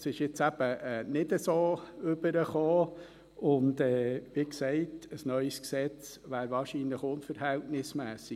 Das ist jetzt eben nicht so rübergekommen und, wie gesagt, ein neues Gesetz wäre wahrscheinlich unverhältnismässig.